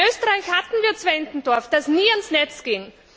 In Österreich hatten wir Zwentendorf, das nie ans Netz ging.